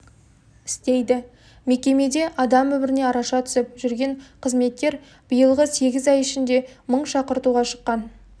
істейді мекемеде адам өміріне араша түсіп жүрген қызметкер биылғы сегіз ай ішінде мың шақыртуға шыққан